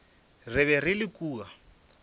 re be re le kua